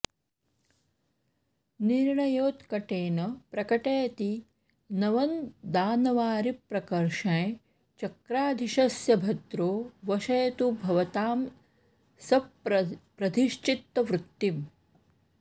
निर्याणेनोत्कटेन प्रकटयति नवं दानवारिप्रकर्षं चक्राधीशस्य भद्रो वशयतु भवतां स प्रधिश्चित्तवृत्तिम्